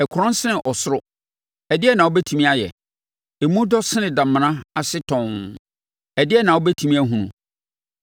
Ɛkorɔn sene ɔsoro, ɛdeɛn na wobɛtumi ayɛ? Emu dɔ sene damena ase tɔnn, ɛdeɛn na wobɛtumi ahunu?